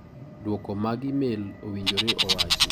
Duoko mag imel owinjore owachi…